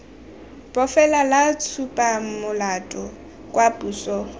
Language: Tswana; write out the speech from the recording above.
bofelo la tshupamolato kwa posong